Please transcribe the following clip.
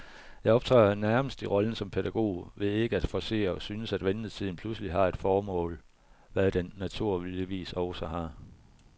Jeg optræder nærmest i rollen som pædagog ved ikke at forcere, og synes, at ventetiden pludselig har et formål, hvad den naturligvis også har.